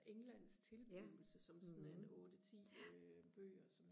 englands tilblivelse som sådan en otte ti øh bøger som